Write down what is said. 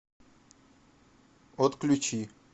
отключи